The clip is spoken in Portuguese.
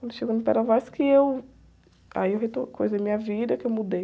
Quando eu cheguei no, que eu, aí eu reto, coisei minha vida, que eu mudei.